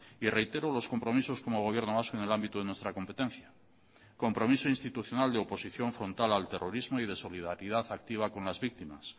y reitero los compromisos como gobierno vasco en el ámbito de nuestra competencia compromiso institucional de oposición frontal al terrorismo y de solidaridad activa con las víctimas